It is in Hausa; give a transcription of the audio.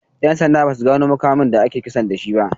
'Yan sanda ba su gano makamin da aka yi kisan da shi ba.